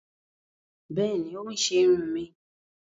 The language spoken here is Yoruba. Bẹẹni, o n ṣe irun mí